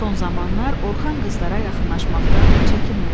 Son zamanlar Orxan qızlara yaxınlaşmaqdan çəkinmirdi.